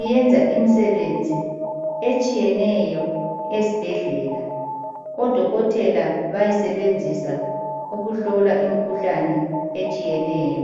iyenza imisebenzi etshiyeneyo esibhedlela. Odokotela bayisebenzisa ukuhlola imikhuhlane etshiyeneyo.